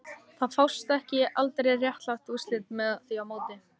Það fást aldrei réttlát úrslit með því móti